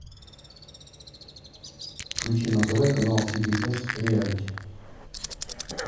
включи на тв канал си би эс реалити